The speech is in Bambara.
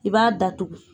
I b'a datugu